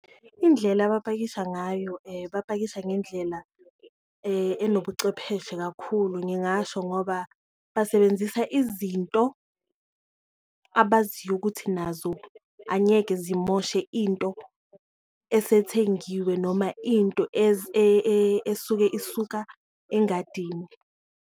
Indlela abapakisha ngayo bapakisha ngendlela enobucwepheshe kakhulu, ngingasho ngoba basebenzisa izinto abaziyo ukuthi nazo angeke zimoshe into esethengiwe noma into esuke isuka engadini.